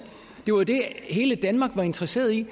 det var det hele danmark var interesseret i